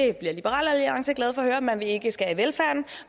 det bliver liberal alliance glade for at høre man vil ikke skære i velfærden